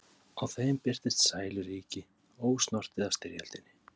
Á þeim birtist sæluríki, ósnortið af styrjöldinni.